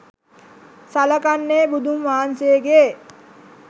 සලකන්නේ බුදුන් වහන්සේගේ